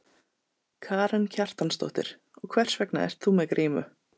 Karen Kjartansdóttir: Og hvers vegna ert þú með grímu?